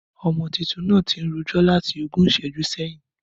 Ọmọ títùn nà tín rójọ̀ làtí ògún ìsẹjú sẹyin.